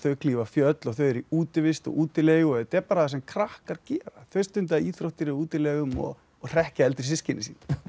klífa fjöll og þau eru í útivist og útilegum þetta er bara það sem krakkar gera þau stunda íþróttir í útilegum og hrekkja eldri systkini sín